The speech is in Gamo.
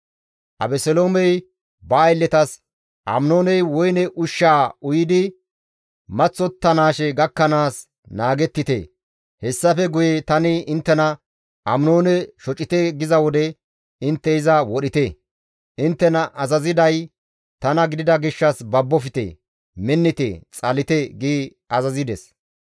Abeseloomey ba aylletas, «Aminooney woyne ushshaa uyidi maththottanaashe gakkanaas naagettite; hessafe guye tani inttena, ‹Aminoone shocite› giza wode intte iza wodhite; inttena azaziday tana gidida gishshas babbofte, minnite, xalite» gi azazides.